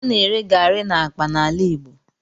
A na-ere garri n'akpa n'ala Igbo.